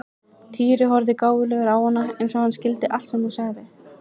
Týri horfði gáfulegur á hana eins og hann skildi allt sem hún sagði.